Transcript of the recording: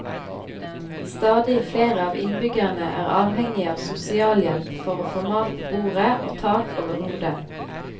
Stadig flere av innbyggerne er avhengige av sosialhjelp for å få mat på bordet og tak over hodet.